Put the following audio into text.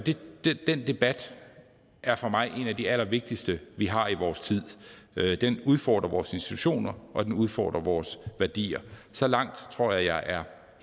den debat er for mig en af de allervigtigste vi har i vores tid den udfordrer vores institutioner og den udfordrer vores værdier så langt tror jeg jeg er